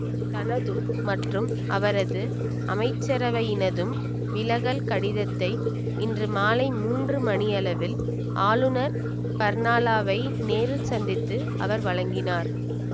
தனதும் மற்றும் அவரது அமைச்சரவையினதும் விலகல் கடிதத்தை இன்று மாலை மூன்று மணி அளவில் ஆளுநர் பர்னாலாவை நேரில் சந்தித்து அவர் வழங்கினார்